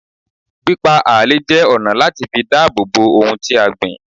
Pípá ààlè jẹ́ ọ̀nà láti fi dáàbòbò ohun tí a gbìn